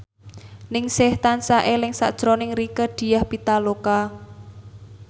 Ningsih tansah eling sakjroning Rieke Diah Pitaloka